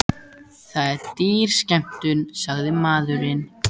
Það er dýr skemmtun, sagði maðurinn.